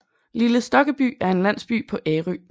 Lille Stokkeby er en landsby på Ærø